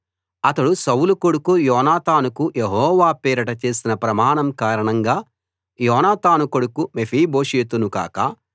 అతడు సౌలు కొడుకు యోనాతానుకు యెహోవా పేరిట చేసిన ప్రమాణం కారణంగా యోనాతాను కొడుకు మెఫీబోషెతును కాక